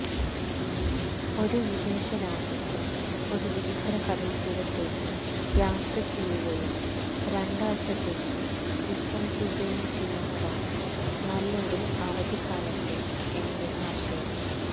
ഒരു വിദേശ രാജ്യത്ത് ഒരു വിചിത്ര കടൽത്തീരത്തേക്ക് യാത്രചെയ്യുകയും രണ്ടാഴ്ചത്തേക്ക് വിശ്രമിക്കുകയും ചെയ്യുന്നതാണ് നല്ല ഒരു അവധിക്കാലത്തെ എന്റെ ആശയം